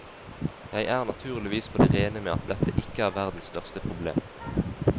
Jeg er naturligvis på det rene med at dette ikke er verdens største problem.